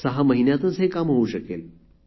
सहा महिन्यात हे काम होऊ शकेल